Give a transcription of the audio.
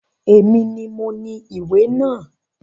Èmi ni moní ìwé náà